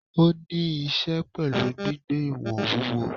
Ó ni íse pẹ̀lú gbígbé ìwọ̀n wúwo.